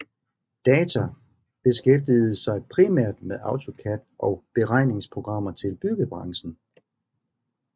Data beskæftigede sig primært med AutoCAD og beregningsprogrammer til byggebranchen